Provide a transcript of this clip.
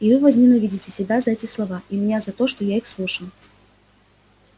и вы возненавидите себя за эти слова и меня за то что я их слушал